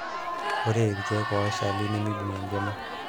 ore irkeek oshal nimibung enkima